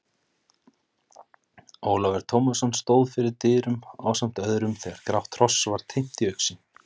Ólafur Tómasson stóð fyrir dyrum ásamt öðrum þegar grátt hross var teymt í augsýn.